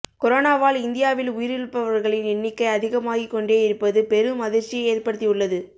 கொரோனாவால் இந்தியாவில் உயிரிழப்பவர்களின் எண்ணிக்கை அதிகமாகிக் கொண்டே இருப்பது பெரும் அதிர்ச்சியை ஏற்படுத்தி உள்ளது